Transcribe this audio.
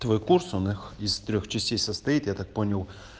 твой курс он их из трёх частей состоит я так понял